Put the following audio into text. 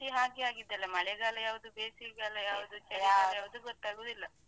ಈ ವರ್ಷ ಇಡೀ ಹಾಗೆ ಆಗಿದೆ ಅಲ್ಲಾ ಮಳೆಗಾಲ ಯಾವುದು ಬೇಸಿಗೆಗಾಲ ಯಾವುದು ಚಳಿಗಾಲ. ಯಾವುದು ಗೊತ್ತಾಗುದಿಲ್ಲ.